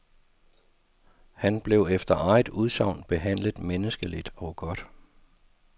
Han blev efter eget udsagn behandlet menneskeligt og godt.